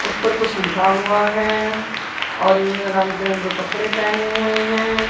उस पर कुछ लिखा हुआ है और इनमें रंग बिरंगे कपड़े पहने हुए हैं।